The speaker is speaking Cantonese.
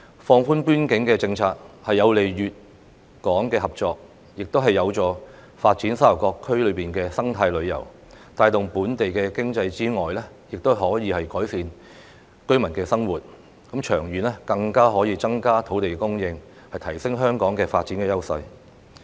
放寬邊境政策有利粵港合作，亦有助發展沙頭角區內的生態旅遊，除可帶動本地經濟外，亦可改善居民生活，長遠更加可以增加土地供應，提升香港的發展優勢。